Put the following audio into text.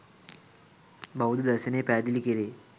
බෞද්ධ දර්ශනයේ පැහැදිලි කැරේ.